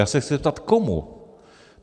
Já se chci zeptat komu.